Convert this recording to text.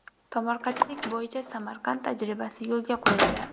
Tomorqachilik bo‘yicha Samarqand tajribasi yo‘lga qo‘yiladi.